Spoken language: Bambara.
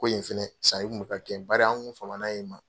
Ko yen fɛnɛ sanni kun bɛ ka kɛ bari an kun famana yen ma.